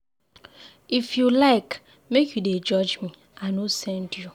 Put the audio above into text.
If you like, make you dey judge me, I no send you.